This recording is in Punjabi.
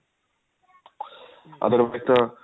otherwise